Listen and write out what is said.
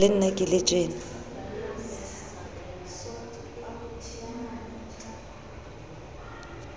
le nna ke le tjena